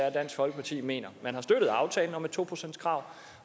er dansk folkeparti mener man har støttet aftalen om et to procentskrav